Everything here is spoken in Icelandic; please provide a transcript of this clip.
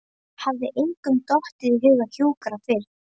Hafði engum dottið í hug að hjúkra fyrr?